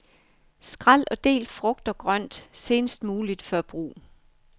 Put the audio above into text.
Skræl og del frugt og grønt senest muligt før brug.